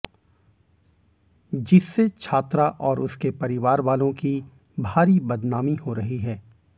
जिससे छात्रा और उसके परिवार वालों की भारी बदनामी हो रही है